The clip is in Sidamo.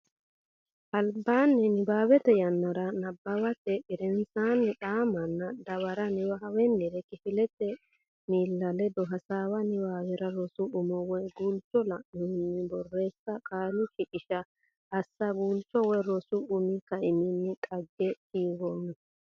albaanni nabbawate yannaranna nabbawate gedensaanni xa manna dawara Niwaawennire kifilete miilla ledo hasaawa Niwaawe rosu umo woy guulcho la annohunni borreessa Qaalu shiqishsha assa Guulchu woy rosu umi kaiminni dhagge kiironna.